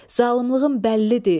Zalımlığın bəllidir.